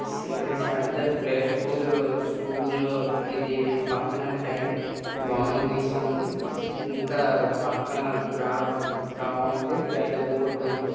Shri Sharada play school school ఇదీ పక్కన tie బొమ్మ గీసుంది ఇంకా పక్కన త్రోవ త్రోవుంది పెద్ద బోర్డ్ ఉంది.